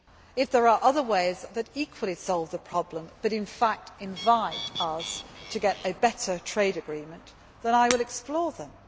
If there are other ways that equally solve the problem but, in fact, invite us to get a better trade agreement, then I will explore them.